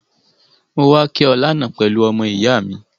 Mo wa ki o lánan pelu ọmọ-ìyá mi